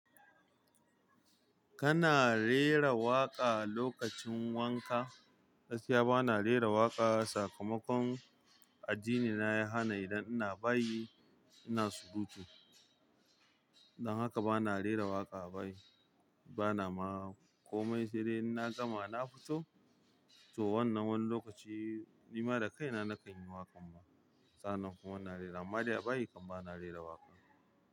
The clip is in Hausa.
Kana rera waƙa lokacin wanka? Gaskiya bana rera waƙa. Sakamakon addinina ya hana idan ina bayi ina surutu. Dan haka bana rera waƙa a bayi bana ma komai. Sai dai inna gama na fito, to wannan wani lokaci ni ma da kaina nakan yi waƙan ma. Sa'annan kuma ina rera, amma dai a bayi kam bana rera waƙa.